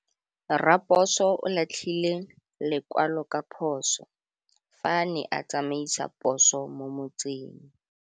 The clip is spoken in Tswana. Raposo o latlhie lekwalô ka phosô fa a ne a tsamaisa poso mo motseng.